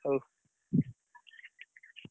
ହଉ।